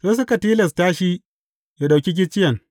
Sai suka tilasta shi yă ɗauki gicciyen.